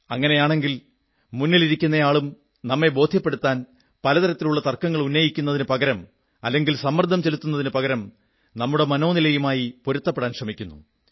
അങ്ങനെയാണെങ്കിൽ മുന്നിലിരിക്കുന്നയാളും നമ്മെ ബോധ്യപ്പെടുത്താൻ പലതരത്തിലുള്ള തർക്കങ്ങൾ ഉന്നയിക്കുന്നതിനു പകരം അല്ലെങ്കിൽ സമ്മർദ്ദം ചെലുത്തുന്നതിനു പകരം നമ്മുടെ മനോനിലയുമായി പൊരുത്തപ്പെടാൻ ശ്രമിക്കുന്നു